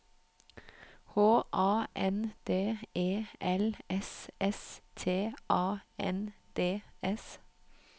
H A N D E L S S T A N D S